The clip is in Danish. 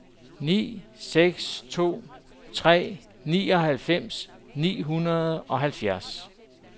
ni seks to tre nioghalvfems ni hundrede og halvfjerds